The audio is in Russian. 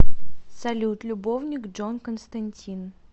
салют любовник джон константин